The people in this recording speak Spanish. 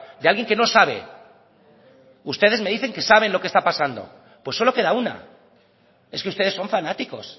de alguien que no sabe ustedes me dicen que saben lo que está pasando pues solo queda una es que ustedes son fanáticos